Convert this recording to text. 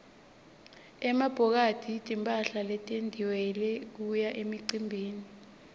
emabhokathi timphahla letentiwele kuya emicimbini